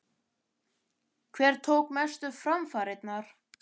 Hver tók mestu framfarirnar?